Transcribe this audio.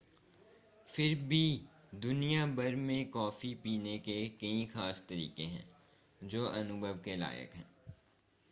फिर भी दुनिया भर में कॉफी पीने के कई खास तरीके हैं जो अनुभव के लायक हैं